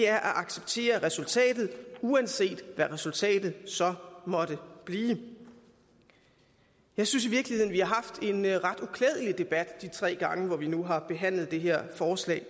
at acceptere resultatet uanset hvad resultatet så måtte blive jeg synes i virkeligheden vi de tre gange vi nu har behandlet det her forslag